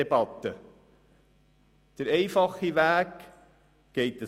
Der einfache Weg verläuft so: